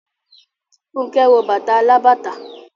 Fúnkẹ́ wọ bàtà alábàtà.